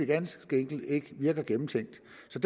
ganske enkelt ikke virker gennemtænkt